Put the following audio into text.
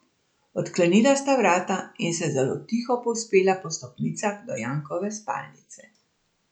Odklenila sta vrata in se zelo tiho povzpela po stopnicah do Jankove spalnice.